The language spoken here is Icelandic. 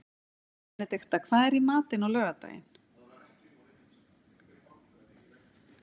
Benedikta, hvað er í matinn á laugardaginn?